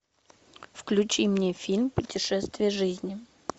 включи мне фильм путешествие жизни